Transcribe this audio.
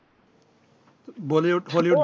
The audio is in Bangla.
Bollywood Hollywood